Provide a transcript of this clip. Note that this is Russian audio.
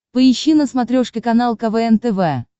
поищи на смотрешке канал квн тв